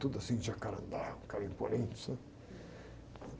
Tudo assim de jacarandá, um cara imponente, sabe?